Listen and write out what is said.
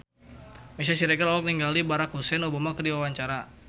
Meisya Siregar olohok ningali Barack Hussein Obama keur diwawancara